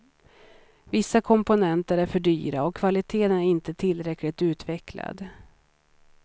Vissa komponenter är för dyra och kvaliteten är inte tillräckligt utvecklad.